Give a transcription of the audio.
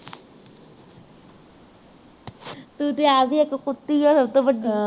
ਤੂੰ ਤੇ ਆਪ ਹੀ ਇੱਕ ਕੁੱਤੀ ਹੈ ਸਭ ਤੋਂ ਵੱਡੀ